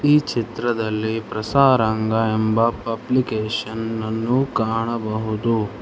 ಈ ಚಿತ್ರದಲ್ಲಿ ಪ್ರಸಾರಂಗ ಎಂಬ ಪಬ್ಲಿಕೇಷನ್ ನನ್ನು ಕಾಣಬಹುದು.